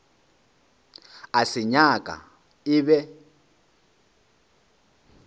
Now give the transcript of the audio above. a se nyaka e be